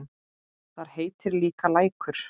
Þar heitir líka Lækur.